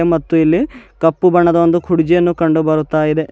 ಮತ್ತು ಇಲ್ಲಿ ಕಪ್ಪು ಬಣ್ಣದ ಒಂದು ಕುಡ್ಜಿಯನ್ನು ಕಂಡುಬರುತಾ ಇದೆ.